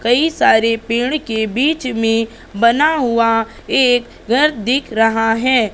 कई सारे पेड़ के बीच में बना हुआ एक घर दिख रहा है।